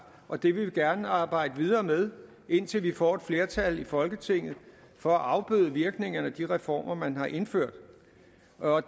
og det vil vi gerne arbejde videre med indtil vi får et flertal i folketinget for at afbøde virkningerne af de reformer man har indført